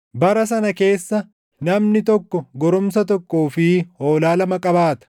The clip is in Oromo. Bara sana keessa namni tokko goromsa tokkoo fi hoolaa lama qabaata.